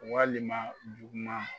Walima juguma